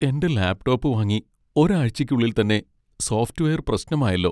എന്റെ ലാപ്ടോപ്പ് വാങ്ങി ഒരാഴ്ചയ്ക്കുള്ളിൽ തന്നെ സോഫ്റ്റ് വെയർ പ്രശ്നമായല്ലോ .